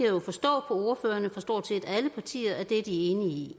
jo forstå på ordførerne fra stort set alle partier at de er enige i